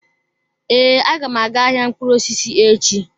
Ee, agam aga-aga ahịa mkpụrụ osisi echi.